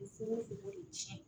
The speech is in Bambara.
Fuko funu ko de cɛn